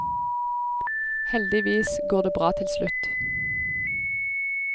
Heldigvis går det bra til slutt.